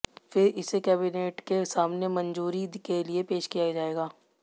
फिर इसे कैबिनेट के सामने मंजूरी के लिए पेश किया जाएगा